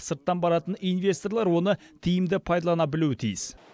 сырттан баратын инвесторлар оны тиімді пайдалана білуі тиіс